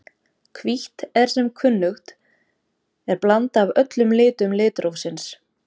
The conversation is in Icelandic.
Hvítt er sem kunnugt er blanda af öllum litum litrófsins.